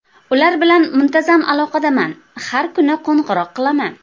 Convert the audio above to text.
Ular bilan muntazam aloqadaman, har kuni qo‘ng‘iroq qilaman.